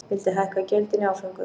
Vildi hækka gjöldin í áföngum